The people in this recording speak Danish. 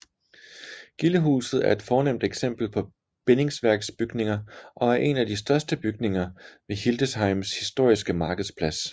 Gildehuset er et fornemt eksempel på bindingsværksbygninger og er en af de største bygninger ved Hildesheims historiske markedsplads